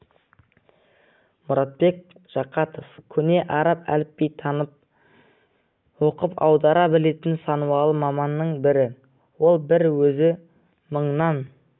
мұратбек жақатов көне араб әліпбиін танып оқып аудара білетін санаулы маманның бірі ол бір өзі мыңнан